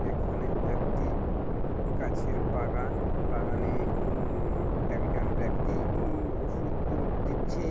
এখানে একটি গাছের বাগান বাগানে উম একজন ব্যক্তি উম ওষুধ তু দিচ্ছে--